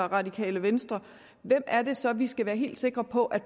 radikale venstre hvem er det så de repræsenterer vi skal være helt sikre på at